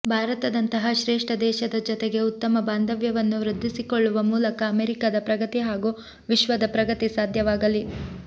ಭಾರತದಂತಹ ಶ್ರೇಷ್ಟ ದೇಶದ ಜೊತೆಗೆ ಉತ್ತಮ ಬಾಂಧವ್ಯವನ್ನು ವೃದ್ಧಿಸಿಕೊಳ್ಳುವ ಮೂಲಕ ಅಮೆರಿಕದ ಪ್ರಗತಿ ಹಾಗೂ ವಿಶ್ವದ ಪ್ರಗತಿ ಸಾಧ್ಯವಾಗಲಿ